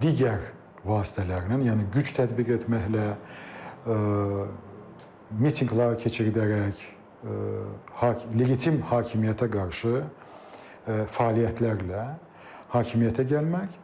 digər vasitələrlə, yəni güc tətbiq etməklə, mitinqlər keçirdərək, legitim hakimiyyətə qarşı fəaliyyətlərlə hakimiyyətə gəlmək